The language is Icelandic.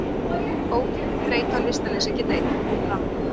Ógleði, þreyta og lystarleysi geta einnig komið fram.